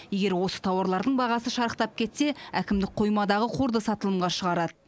егер осы тауарлардың бағасы шарықтап кетсе әкімдік қоймадағы қорды сатылымға шығарады